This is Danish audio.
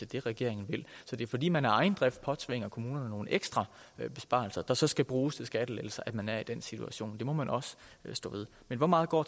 det regeringen vil så det er fordi man af egen drift påtvinger kommunerne nogle ekstra besparelser der så skal bruges til skattelettelser at man er i den situation det må man også stå ved men hvor meget går